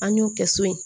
An y'o kɛ so in